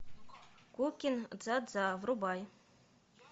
ку кин дза дза врубай